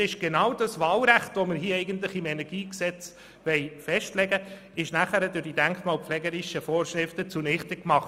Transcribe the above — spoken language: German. Denn so würde genau das Wahlrecht, welches wir im KEnG festschreiben wollen, durch die denkmalpflegerischen Vorschriften zunichte gemacht.